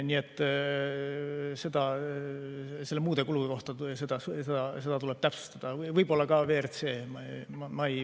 Nii et neid muid kulusid tuleb täpsustada, võib-olla ka WRC kohta.